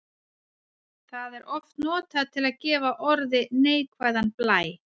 Það er oft notað til að gefa orði neikvæðan blæ.